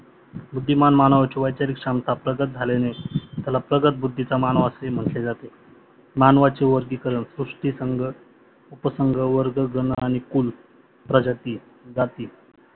बुद्धिमाम मानवाची वैचारिक क्षमता प्रगत झाल्यने त्याला प्रगत बुद्धीचा मानव असे म्हटले जाते. मानवाचा वर्गीकरण पुष्टीसंग उपसंग वर्ग गण आणि कुल प्रजाती जाती.